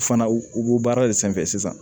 U fana u b'o baara de sanfɛ sisan